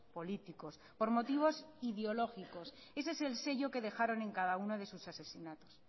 políticos por motivos ideológicos ese es el sello que dejaron en cada uno de sus asesinatos